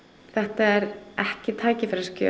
þetta er ekki tækifærisgjöf